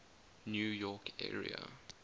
new york area